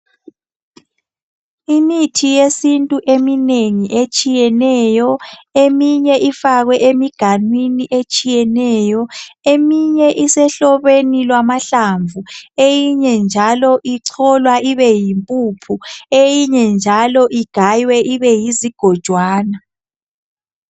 Imithi yesintu eminengi etshiyeneyo emeinye ifakwe emiganwini etshiyeneyo eminye isehlobeni lwamahlamvu eyinye njalo icholwa ibe yimpuphu eyinye njalo igaywe ibe yizigojwana.